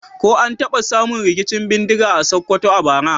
Ko an taba samun rikicin bindiga a Sokoto a bara?